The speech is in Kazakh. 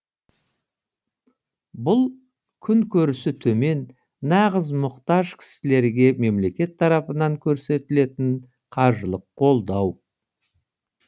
бұл күнкөрісі төмен нағыз мұқтаж кісілерге мемлекет тарапынан көрсетілетін қаржылық қолдау